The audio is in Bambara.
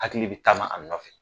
Hakili bɛ taama a nɔfɛ.